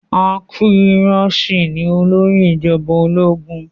Aguiyi Ironsi ni olórí ìjọba ológun